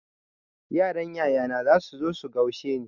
Yaran yayana zasu zo su gaushe ni.